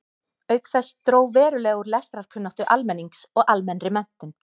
Auk þess dró verulega úr lestrarkunnáttu almennings og almennri menntun.